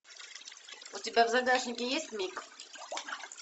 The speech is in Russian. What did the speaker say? у тебя в загажнике есть миг